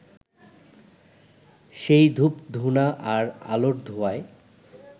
সেই ধূপধূনা আর আলোর ধোঁয়ায়